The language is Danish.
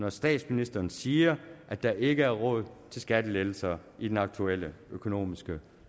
at statsministeren siger at der ikke er råd til skattelettelser i den aktuelle økonomiske